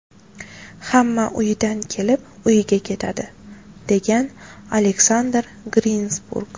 Hamma uyidan kelib, uyiga ketadi”, degan Aleksandr Grinsburg.